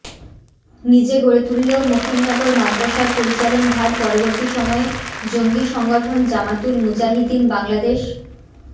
নিজে গড়ে তুললেও মকিমনগর মাদ্রাসার পরিচালন ভার পরবর্তী সময়ে জঙ্গি সংগঠন জামাতুল মুজাহিদিন বাংলাদেশ